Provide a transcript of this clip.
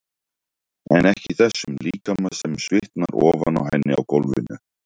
Ekki í þessum líkama sem svitnar ofan á henni á gólfinu.